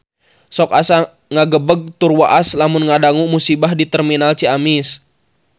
Sok asa ngagebeg tur waas lamun ngadangu musibah di Terminal Ciamis